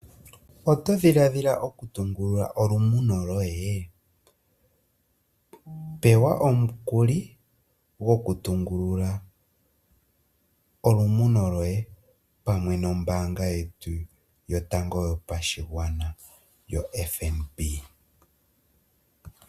Oto dhiladhila okutungulula olumuno loye? Pewa omukuli go ku tungulula olumuno loye, pamwe nombaanga yetu yotango yopashigwana yoFNB.